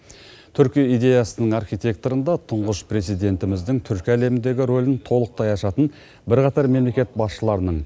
түркі идеясының архитекторында тұңғыш президентіміздің түркі әлеміндегі рөлін толықтай ашатын бірқатар мемлекет басшыларының